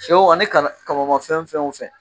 Sɛw ani kamanmafɛn o fɛn.